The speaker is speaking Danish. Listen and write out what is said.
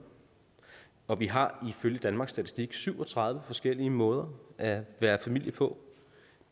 og vi har ifølge danmarks statistik syv og tredive forskellige måder at være familie på